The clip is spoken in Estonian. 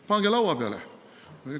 Pange laua peale!